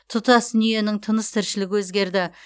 тұтас дүниенің тыныс тіршілігі өзгерді